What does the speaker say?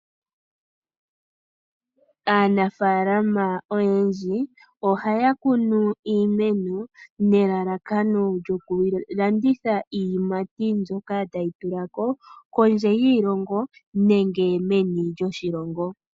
Aanafaalama oyendji, ohaya kunu iimeno nelalakano lyokulanditha iiyimati mbyoka tayi tulako kondje yiilongo nenge meni lyoshilongo.